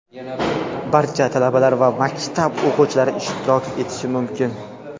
Barcha talabalar va maktab o‘quvchilari ishtirok etishi mumkin!.